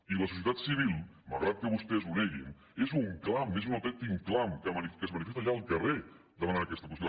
i la societat civil malgrat que vostès ho neguin és un clam és un autèntic clam que es manifesta ja al carrer demanant aquesta qüestió